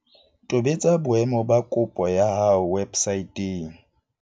Tobetsa boemo ba kopo ya hao websaeteng.